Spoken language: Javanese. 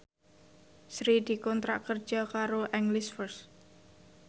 Sri dikontrak kerja karo English First